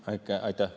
Aitäh!